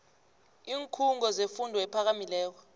iinkhungo zefundo ephakamileko